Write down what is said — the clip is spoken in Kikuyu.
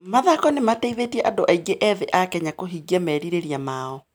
Mathako nĩ mateithĩtie andũ aingĩ ethĩ a Kenya kũhingia merirĩria mao.